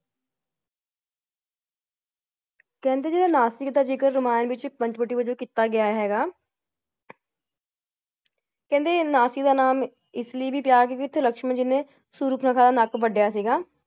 ਕਹਿੰਦੇ ਜੇਦਾ ਨਾਸਿਕ ਦਾ ਜ਼ਿਕਰ ਰਾਮਾਯਣ ਵਿਚ ਪੰਚਵਟੀ ਵੱਜੋਂ ਕੀਤਾ ਗਯਾ ਹੈਗਾ । ਕਹਿੰਦੇ ਨਾਸਿਕ ਦਾ ਨਾਮ ਇਸ ਲਈ ਵੀ ਇਥੇ ਲਕਸ਼ਮਣ ਜੀ ਨੇ ਸੁਪ੍ਰਨਾਖਾ ਦਾ ਨੱਕ ਵਡਿਆ ਸੀਗਾ ।